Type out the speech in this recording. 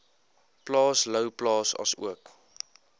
plaas louwplaas asook